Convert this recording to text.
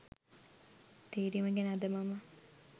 තේරීම ගැන අද මම